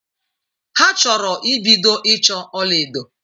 Ha chọrọ ibido ịchọ ọla edo.